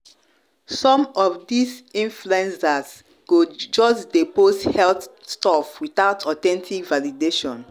some of this of this influencers go just dey post health stuff without authentic validation